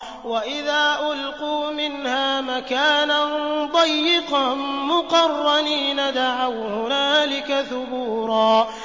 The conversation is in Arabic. وَإِذَا أُلْقُوا مِنْهَا مَكَانًا ضَيِّقًا مُّقَرَّنِينَ دَعَوْا هُنَالِكَ ثُبُورًا